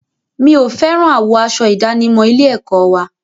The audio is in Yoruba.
Mi ò fẹ́ràn àwọ̀ aṣọ ìdánimọ̀ ilé-ẹ̀kọ́ wa.